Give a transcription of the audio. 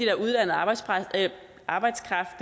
er uddannet arbejdskraft arbejdskraft